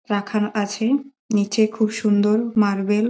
রাখান আছে নিচে খুব সুন্দর মার্বেল --